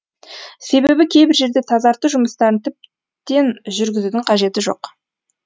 себебі кейбір жерде тазарту жұмыстарын тіптен жүргізудің қажеті жоқ